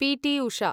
PT. Usha